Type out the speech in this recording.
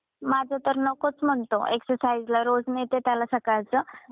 माझा तर नकोच म्हणतो एक्सरसाईजला रोज नेते त्याला सकळच.